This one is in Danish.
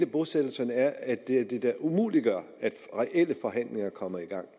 bosættelserne er at det da umuliggør at reelle forhandlinger kommer i gang